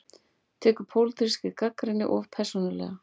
Tekur pólitískri gagnrýni of persónulega